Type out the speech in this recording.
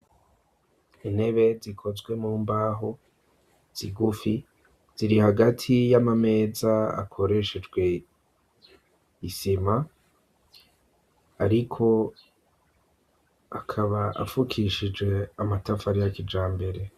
Intebe zikozwe mu mbaho zigufi ziri hagati y'amameza akoreshejwe isima ariko akaba afukishije amatafari ya kija mbere.